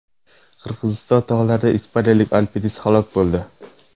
Qirg‘iziston tog‘larida ispaniyalik alpinist halok bo‘ldi.